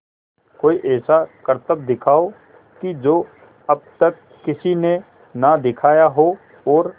कोई ऐसा करतब दिखाओ कि जो अब तक किसी ने ना दिखाया हो और